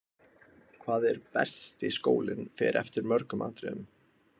Hvað er „besti“ skólinn fer eftir mörgum atriðum.